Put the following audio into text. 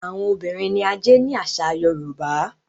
Àwọn obìrin ní ajé ní àsà yorùbá.